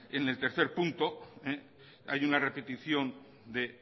en el tercer punto hay una repetición de